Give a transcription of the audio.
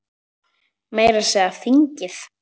Meira að segja þingið!